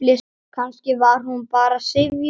Kannski var hún bara syfjuð.